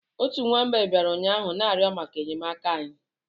Otu nwa mgbei bịara ụnyaahụ na-arịọ maka enyemaka anyị